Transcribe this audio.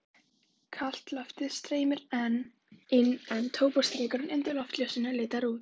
Kalt loftið streymdi inn en tóbaksreykurinn undir loftljósunum leitaði út.